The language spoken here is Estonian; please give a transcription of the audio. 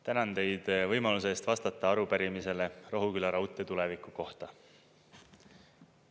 Tänan teid võimaluse eest vastata arupärimisele Rohuküla raudtee tuleviku kohta.